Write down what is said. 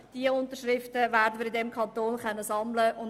Diese Unterschriften werden wir im Kanton sammeln können.